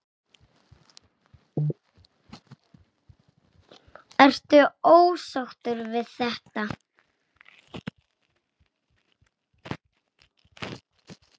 Ertu ósáttur við þetta?